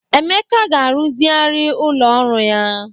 Emeka ga-aruzigharị ụlọ ọrụ ya.